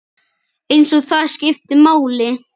Eins og það skipti máli.